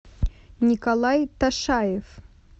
николай ташаев